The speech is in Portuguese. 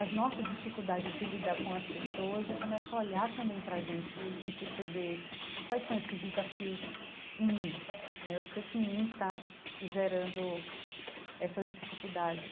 as nossas dificuldades de lidar com as pessoas e começar a olhar também para a gente e e perceber quais são esses desafios em mim né, o que é que em mim está gerando essas dificuldades.